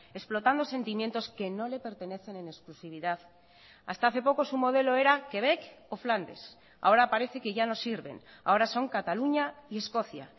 explotando sentimientos que no le pertenecen en exclusividad hasta hace poco su modelo era québec o flandes ahora parece que ya no sirven ahora son cataluña y escocia